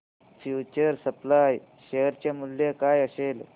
future supply share चे मूल्य काय असेल